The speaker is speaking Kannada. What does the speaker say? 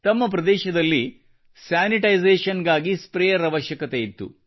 ತಮ್ಮ ಪ್ರದೇಶದಲ್ಲಿ ಸ್ಯಾನಿಟೈಸೇಶನ್ ಗಾಗಿ ಸ್ಪ್ರೇಯರ್ ಅವಶ್ಯಕತೆಯಿತ್ತು